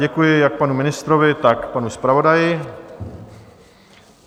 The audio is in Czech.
Děkuji jak panu ministrovi, tak panu zpravodaji.